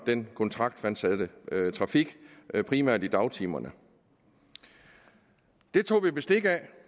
den kontraktfastsatte trafik primært i dagtimerne dette tog vi bestik af